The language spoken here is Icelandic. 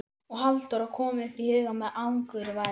Og Halldóra kom upp í hugann með angurværð.